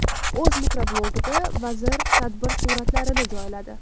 O‘z mikroblogida vazir tadbir suratlarini joyladi.